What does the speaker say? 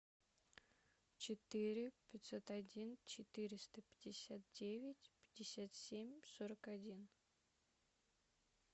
четыре пятьсот один четыреста пятьдесят девять пятьдесят семь сорок один